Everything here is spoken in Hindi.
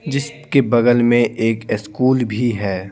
जिसके बगल में एक स्कूल भी है।